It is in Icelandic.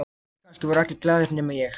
Já, kannski voru allir glaðir nema ég.